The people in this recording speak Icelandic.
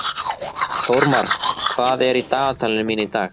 Þórmar, hvað er í dagatalinu mínu í dag?